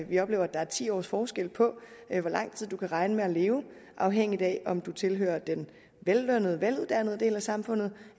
vi oplever at der er ti års forskel på hvor lang tid man kan regne med at leve afhængig af om man tilhører den vellønnede veluddannede del af samfundet